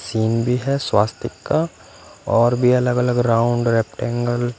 scene भी है सवास्तिक का और भी अलग अलग राउंड रेप्टिंग --